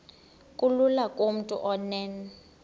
kulula kumntu onen